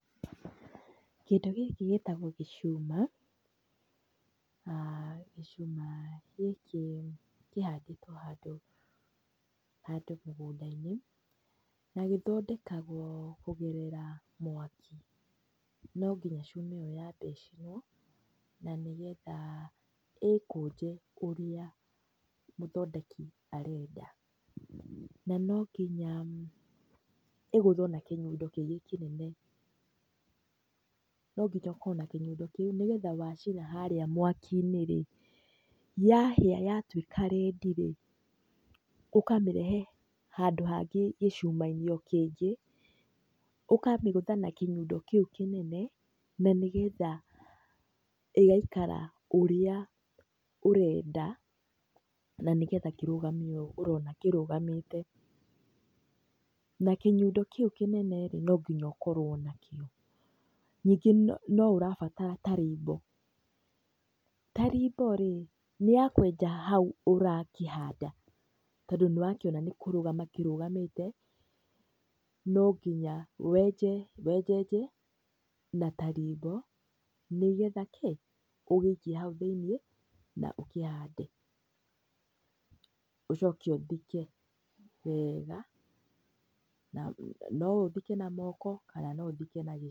Kĩndũ gĩkĩ gĩtagwo gĩcuma, na gĩcuma gĩkĩ kĩhandĩtwo handũ mũgũnda-inĩ, na gĩthondekagwo kũgerera mwaki. No nginya cuma ĩyo ĩcinwo, na nĩgetha ĩkũnje ũrĩa mũthondeki arenda, na no nginya ĩgũthwo na kĩnyundo kĩngĩ kĩnene. No nginya ũkorwo na kĩnyundo kĩu, nĩgetha wacina harĩa mwaki-inĩ rĩ, yahĩa yatuĩka rendi-rĩ, ũkamĩrehe handũ hangĩ gĩcuma-inĩ o kĩngĩ, ũkamĩgũtha na kĩnyundo kĩu kĩnene, na nĩgetha ĩgaikara ũrĩa ũrenda, na nĩgetha kĩrũgame ũũ ũrona kĩrũgamĩte, na kĩnyundo kĩu kĩnene-rĩ, no nginya ũkorwo nakĩo. Ningĩ no ũrabatara tarimbo. Tarimbo-rĩ, nĩ ya kwenja hau ũrakĩhanda, tondũ nĩwakĩona nĩkũrũgama kĩrũgamĩte, no nginya wenjenje, na tarimbo nĩgetha kĩ? ũgĩikie hau thĩiniĩ, na ũkĩhande, ũcoke ũthike wega, no ũthike na moko, kana no ũthike na gĩciko.